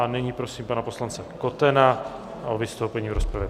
A nyní prosím pana poslance Kotena o vystoupení v rozpravě.